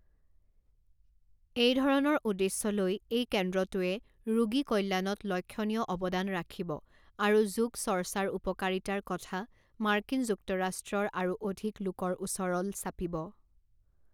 এই ধৰণৰ উদ্দেশ্য লৈ এই কেন্দ্ৰটোৱে ৰোগী কল্যাণত লক্ষ্যণীয় অৱদান ৰাখিব আৰু যোগচৰ্চাৰ উপকাৰিতাৰ কথা মাৰ্কিন যুক্তৰাষ্ট্ৰৰ আৰু অধিক লোকৰ ওচৰল চাপিব।